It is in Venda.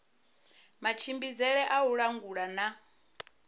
matshimbidzele a u langula na